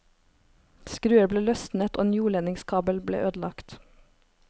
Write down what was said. Skruer ble løsnet og en jordledningskabel ble ødelagt.